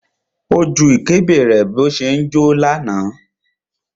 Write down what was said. Ó ju ìkébè rẹ̀ bó ṣe ń jó.